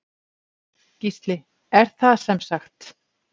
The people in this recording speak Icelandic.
Gísli: Er það semsagt.